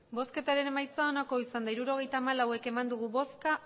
emandako botoak hirurogeita hamalau bai